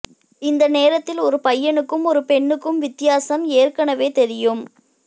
இந்த நேரத்தில் ஒரு பையனுக்கும் ஒரு பெண்ணுக்கும் வித்தியாசம் ஏற்கனவே தெரியும்